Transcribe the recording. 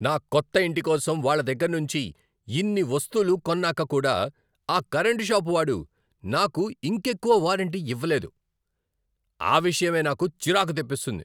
నా కొత్త ఇంటి కోసం వాళ్ళ దగ్గరనుంచి ఇన్ని వస్తులు కొన్నాక కూడా ఆ కరెంటు షాపు వాడు నాకు ఇంకెక్కువ వారంటీ ఇవ్వలేదు. ఆ విషయమే నాకు చిరాకు తెప్పిస్తుంది.